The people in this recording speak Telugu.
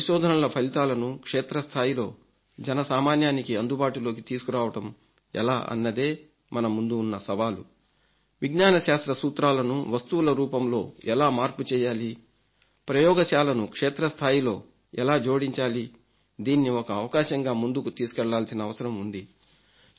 వారి పరిశోధనల ఫలితాలను క్షేత్రస్థాయిలో జనసామాన్యానికి అందుబాటులోకి తీసుకురావడం ఎలా అన్నదే మన ముందున్న సవాలు విజ్ఞాన శాస్త్ర సూత్రాలను వస్తువుల రూపంలో ఎలా మార్పు చేయాలి పరమ యోగశాలను క్షేత్రస్థాయిలో ఎలా జోడించాలి దాన్ని ఒక అవకాశంగా ముందుకు తీసుకెళ్లాల్సివసరం ఉంది